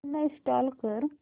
uninstall कर